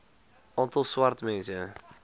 aantal swart mense